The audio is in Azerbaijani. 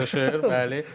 Qızışır, bəli.